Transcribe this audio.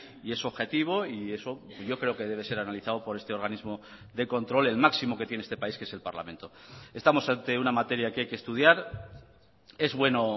y es objetivo y eso yo creo que debe ser analizado por este organismo de control el máximo que tiene este país que es el parlamento estamos ante una materia que hay que estudiar es bueno